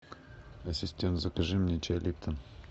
ассистент закажи мне чай липтон